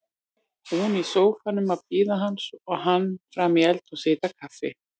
Hún í sófanum að bíða hans og hann frammi í eldhúsi að hita kaffi.